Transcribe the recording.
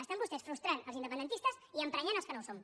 estan vostès frustrant els independen tistes i emprenyant els que no ho som